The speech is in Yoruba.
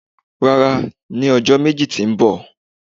rara, ni ọjọ meji ti mbọ.